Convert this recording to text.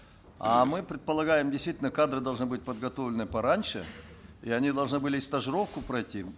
а мы предполагаем действительно кадры должны быть подготовлены пораньше и они должны были и стажировку пройти